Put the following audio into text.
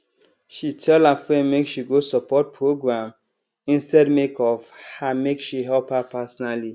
she tell her friend make she go support program instead make of her make she help her personally